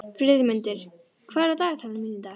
Friðmundur, hvað er á dagatalinu mínu í dag?